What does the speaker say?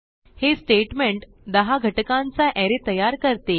हे स्टेटमेंट 10 घटकांचा अरे तयार करते